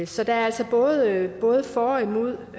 så der er altså både både for og imod